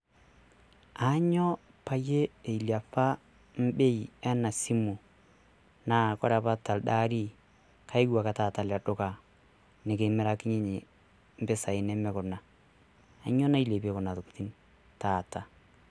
Ainyio pee ilepa Bei ena simu? Naa ore apa telde ari kayeuo ake taata ele duka nikimirakinyie impisai nemenkuna, kanyio nailepie Kuna tokitin taata.